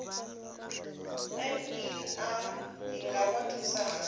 ner i nga vha thusa hani